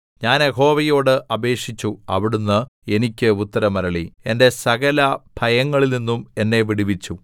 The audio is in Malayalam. ഞാൻ യഹോവയോട് അപേക്ഷിച്ചു അവിടുന്ന് എനിക്ക് ഉത്തരമരുളി എന്റെ സകല ഭയങ്ങളിൽനിന്നും എന്നെ വിടുവിച്ചു